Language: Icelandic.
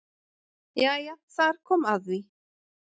Jæja þar kom að því.